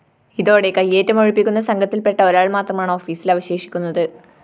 ഇതോടെ കൈയേറ്റം ഒഴിപ്പിക്കുന്ന സംഘത്തില്‍പ്പെട്ട ഒരാള്‍ മാത്രമാണ് ഓഫീസില്‍ അവശേഷിക്കുന്നത്